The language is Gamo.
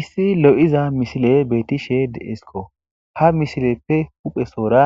Issi lo'iza misile beetishe deesikko ha mishileppe huphesoora